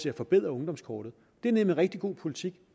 at forbedre ungdomskortet det er nemlig rigtig god politik